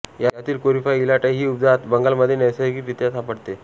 यातील Corypha elata ही उपजात बंगालमध्ये नैसर्गिक रित्या सापडते